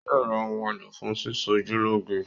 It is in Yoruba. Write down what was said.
Yóò ra ohun èlò fún sísọjúlọ́ge